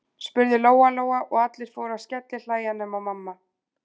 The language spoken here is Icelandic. spurði Lóa-Lóa, og allir fóru að skellihlæja nema mamma.